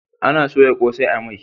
Ana soya kosai a mai